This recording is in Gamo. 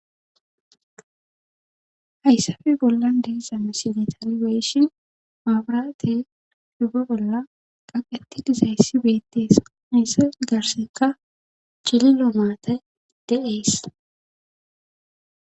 Hayssafe bollan deeszame sidetaaliweshin maabraate hufa bolla qaqeti dizayssi beettees hayssa garseka cili loomaate de7ees.